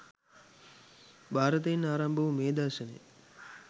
භාරතයෙන් ආරම්භ වූ මේ දර්ශනය